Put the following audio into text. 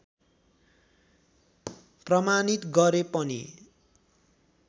प्रमाणित गरे पनि